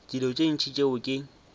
dilo tše ntši tšeo ke